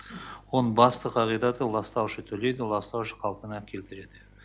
оның басты қағидаты ластаушы төлейді ластаушы қалпына келтіреді